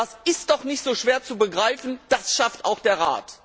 Das ist doch nicht so schwer zu begreifen, das schafft auch der Rat!